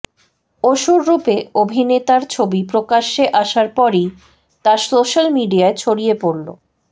অসুর রূপে অভিনেতার ছবি প্রকাশ্যে আসার পরই তা সোশ্যাল মিডিয়ায় ছড়িয়ে পড়ল